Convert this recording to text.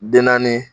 Den naani